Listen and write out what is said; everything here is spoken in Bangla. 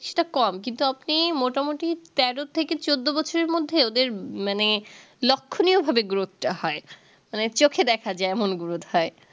সেটা কম কিন্তু আপনি মোটামুটি তেরো থেকে চদ্দো বছরের মধ্যে ওদের মানে লক্ষণীয় ভাবে growth টা হয় মানে চোখে দেখা যাই এমন growth হয়